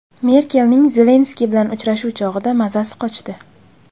Merkelning Zelenskiy bilan uchrashuv chog‘ida mazasi qochdi.